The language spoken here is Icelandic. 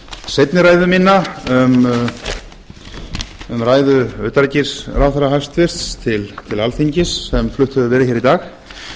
seinni ræðu mína um ræðu utanríkisráðherra hæstvirtur til alþingis sem flutt hefur verið hér í dag